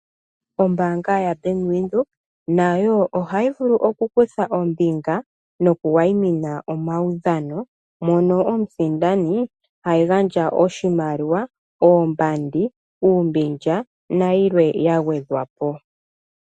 Ombaanga yaBank Windhoek nayo ohayi vulu oku kutha ombinga noku wayimina omaudhano, mono omusindani ha gandja oshimaliwa, oombandi, uumbilya nayilwe ya gwedhwa po.